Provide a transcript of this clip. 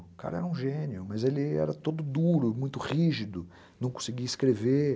O cara era um gênio, mas ele era todo duro, muito rígido, não conseguia escrever.